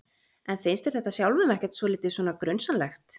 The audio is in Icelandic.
En finnst þér þetta sjálfum ekkert svolítið svona grunsamlegt?